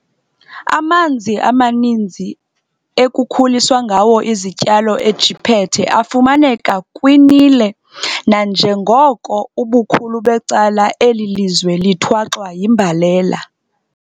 Amanzi amaninzi ekukhuliswa ngawo izityalo eJiphethe afumaneka kwi-Nile, nanjengoko ubukhulu becala eli lizwe lithwaxwa yimbalela.